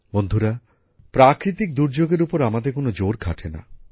বন্ধুরা প্রাকৃতিক দুর্যোগের উপর আমাদের কোনো জোর খাটেনা